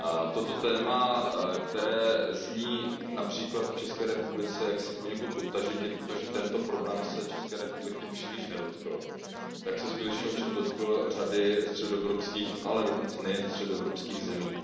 Toto téma, které zní například v České republice poněkud odtažitě, protože tento problém se České republiky příliš nedotkl, se skutečně ovšem dotklo řady středoevropských, ale dokonce nejen středoevropských zemí.